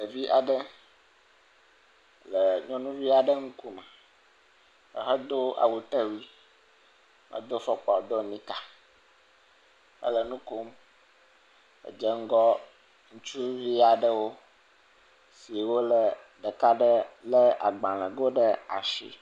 Ɖevi aɖe le nyɔnuvi aɖe ŋkume, ehedo awutewui, do fɔkpa do nika, ele nu kom, dzeŋgɔ ŋutsuvi aɖewo si ɖeka lé agbalẽgowo ɖe asi.